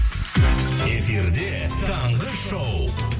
эфирде таңғы шоу